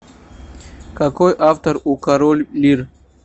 какой автор у король лир